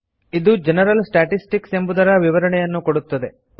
ಇದು general statistics ಎಂಬುದರ ವಿವರಣೆಯನ್ನು ಕೊಡುತ್ತದೆ